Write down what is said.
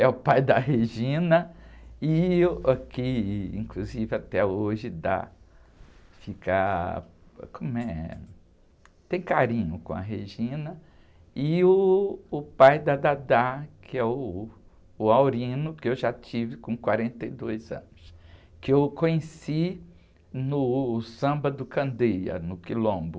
é o pai da, e o que inclusive até hoje dá, fica, como é? Tem carinho com a, e uh, o pai da, que é uh, o, que eu já tive com quarenta e dois anos, que eu conheci no samba do Candeia, no Quilombo.